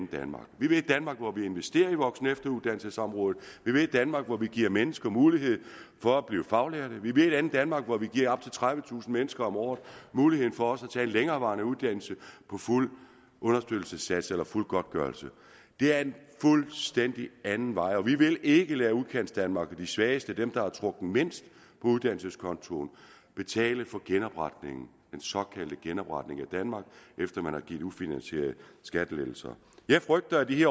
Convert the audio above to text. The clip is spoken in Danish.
danmark vi vil et danmark hvor vi investerer i voksen og efteruddannelsesområdet vi vil et danmark hvor vi giver mennesker mulighed for at blive faglærte vi vil et andet danmark hvor vi giver op til tredivetusind mennesker om året muligheden for at tage en længerevarende uddannelse på fuld understøttelsessats eller fuld godtgørelse det er en fuldstændig anden vej og vi vil ikke lade udkantsdanmark og de svageste dem der har trukket mindst på uddannelseskontoen betale for genopretningen den såkaldte genopretning af danmark efter at man har givet ufinansierede skattelettelser jeg frygter at de